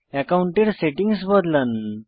অ্যাকাউন্টের সেটিংস বদলান